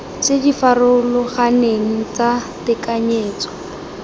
tse di farologaneng tsa tekanyetso